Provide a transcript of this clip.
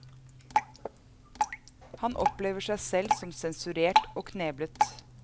Han opplever seg selv som sensurert og kneblet.